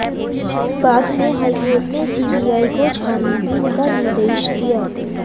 बाद में हाईकोर्ट ने सीबीआई को छानबीन का निर्देश दिया